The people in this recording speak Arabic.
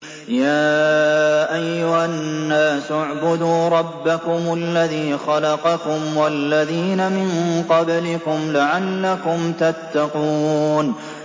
يَا أَيُّهَا النَّاسُ اعْبُدُوا رَبَّكُمُ الَّذِي خَلَقَكُمْ وَالَّذِينَ مِن قَبْلِكُمْ لَعَلَّكُمْ تَتَّقُونَ